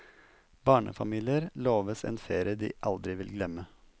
Barnefamilier loves en ferie de aldri vil glemme.